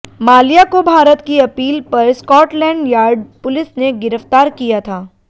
माल्या को भारत की अपील पर स्कॉटलैंड यार्ड पुलिस ने गिरफ्तार किया था